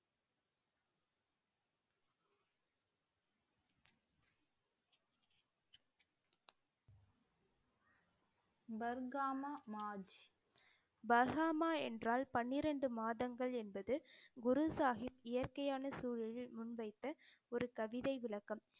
பர்காம மாஜ். பர்காமா என்றால் பனிரெண்டு மாதங்கள் என்பது குரு சாஹிப் இயற்கையான சூழலில் முன்வைத்த ஒரு கவிதை விளக்கம்